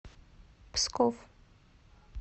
псков